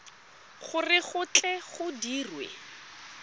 gore go tle go dirwe